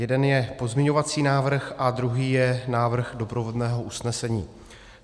Jeden je pozměňovací návrh a druhý je návrh doprovodného usnesení.